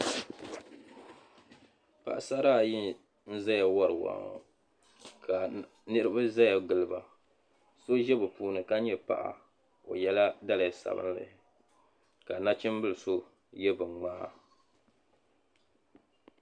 Paɣasara ayi n-zaya wari waa ŋɔ ka niriba zaya giliba so ʒi be puuni ka nyɛ paɣa o yela daliya sabinli ka nachimbili so ye bin'ŋmaa.